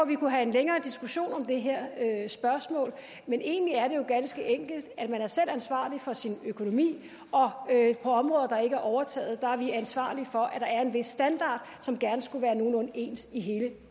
vi kunne have en længere diskussion om det her spørgsmål men egentlig er det jo ganske enkelt man er selv ansvarlig for sin økonomi og på områder der ikke er overtaget er vi ansvarlige for at der er en vis standard som gerne skulle være en nogenlunde ens i hele